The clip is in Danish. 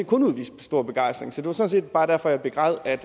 kun udvist stor begejstring sådan set bare derfor jeg begræd at